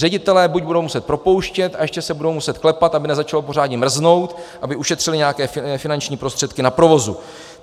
Ředitelé buď budou muset propouštět a ještě se budou muset klepat, aby nezačalo pořádně mrznout, aby ušetřili nějaké finanční prostředky na provozu.